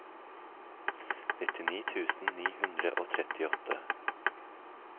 nittini tusen ni hundre og trettiåtte